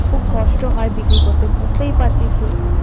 খুব কষ্ট হয় বিক্রি করতে বুঝতেই পারছিস তুই।